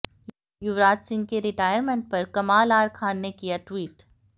युवराज सिंह के रिटायरमेंट पर कमाल आर खान ने किया ट्वीट